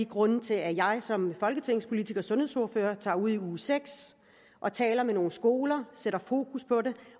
grundene til at jeg som folketingspolitiker og sundhedsordfører tager ud i uge seks og taler med nogle skoler sætter fokus på det